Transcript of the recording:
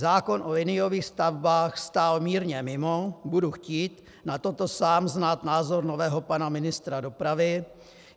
Zákon o liniových stavbách stál mírně mimo, budu chtít na toto sám znát názor nového pana ministra dopravy.